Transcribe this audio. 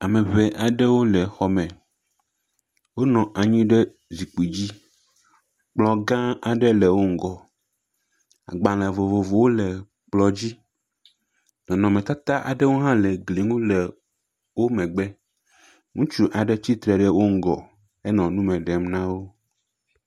Ame ŋee aɖewo le xɔ me. Wonɔ anyi ɖe zikpui dzi kplɔ gã aɖe le wo ŋgɔ. Agbale vovovowo le kplɔ dzi. Nɔnɔmetata aɖewo hã le gli ŋu le wo megbe. Ŋutsu aɖewo tsitre wo wo ŋgɔ henɔ nu me ɖem na wo.